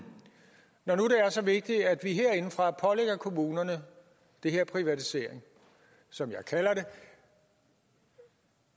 når nu er så vigtigt at vi herindefra pålægger kommunerne det her privatisering som jeg kalder det